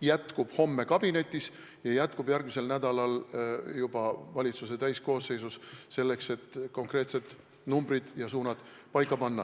jätkub homme kabinetis ja järgmisel nädalal jätkub juba valitsuse täiskoosseisus, selleks et konkreetsed numbrid ja suunad paika panna.